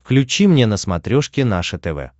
включи мне на смотрешке наше тв